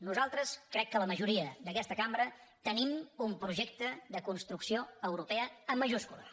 nosaltres crec que la majoria d’aquesta cambra tenim un projecte de construcció europea amb majúscules